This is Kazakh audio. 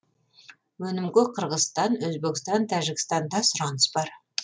өнімге қырғызстан өзбекстан тәжікстанда сұраныс бар